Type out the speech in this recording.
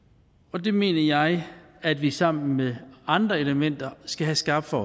og det mener jeg at vi sammen med andre elementer skal have skarpt for